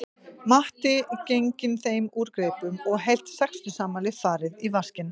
Matti genginn þeim úr greipum og heilt sextugsafmæli farið í vaskinn